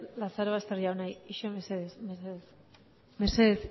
lazarobaster jauna itxaron mesedez mesedez